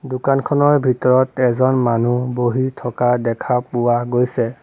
দোকানখনৰ ভিতৰত এজন মানুহ বহি থকা দেখা পোৱা গৈছে।